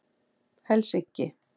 Helsinki